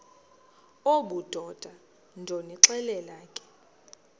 obudoda ndonixelela ke